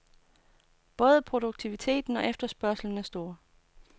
Både produktiviteten og efterspørgslen er stor.